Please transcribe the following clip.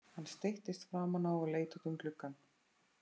Hann settist framan á og leit út um gluggann.